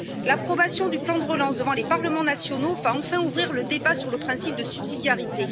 L'approbation du plan de relance devant les parlements nationaux va enfin ouvrir le débat sur le principe de subsidiarité.